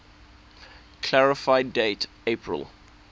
clarify date april